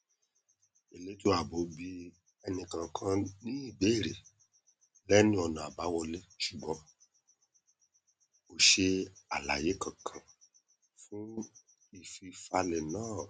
elétò ààbò bi ẹnìkọọkan ní ìbéèrè lẹnu ọnà abáwọlé ṣùgbọn kò ṣe alàyé kankan fún ìfifalẹ náà